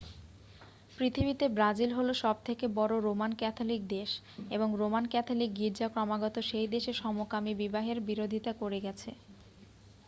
পৃথিবীতে ব্রাজিল হল সবথেকে বড় রোমান ক্যাথলিক দেশ এবং রোমান ক্যাথলিক গির্জা ক্রমাগত সেই দেশে সমকামী বিবাহের বিরোধিতা করে গেছে